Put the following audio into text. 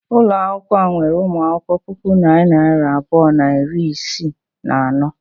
Ụlọ akwụkwọ a nwere ụmụ akwụkwọ puku na narị abụọ na iri isii na anọ.